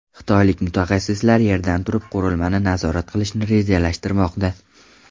Xitoylik mutaxassislar Yerdan turib qurilmani nazorat qilishni rejalashtirmoqda.